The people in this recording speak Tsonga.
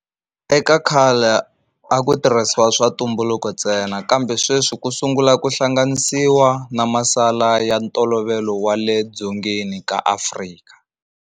Eka khale a ku tirhisiwa swa ntumbuluko ntsena kambe sweswi ku sungula ku hlanganisiwa na masala ya ntolovelo wa le dzongeni ka Afrika.